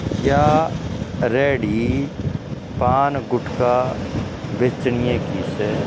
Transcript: या रेहड़ी पान गुटका बेचणीये की स।